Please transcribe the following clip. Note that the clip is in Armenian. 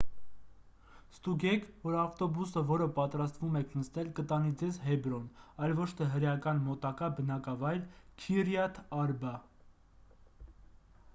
ստուգեք որ ավտոբուսը որը պատրաստվում եք նստել կտանի ձեզ հեբրոն այլ ոչ թե հրեական մոտակա բնակավայր քիրյաթ արբա